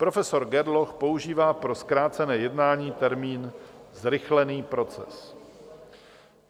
Profesor Gerloch používá pro zkrácené jednání termín zrychlený proces.